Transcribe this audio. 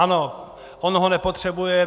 Ano, on ho nepotřebuje.